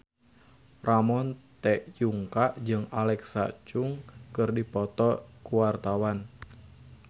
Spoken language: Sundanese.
Ramon T. Yungka jeung Alexa Chung keur dipoto ku wartawan